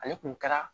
Ale kun kɛra